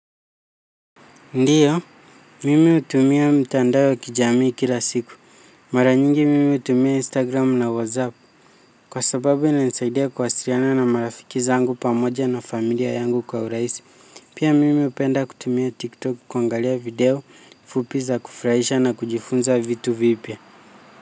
Ndio, mimi hutumia mtandao ya kijamii kila siku, mara nyingi mimi hutumia instagram na whatsapp, kwa sababu ilinisaidia kuwasiliana na marafiki zangu pamoja na familia yangu kwa urahisi, pia mimi hupenda kutumia tiktok kuangalia video, fupi za kufurahisha na kujifunza vitu vipya.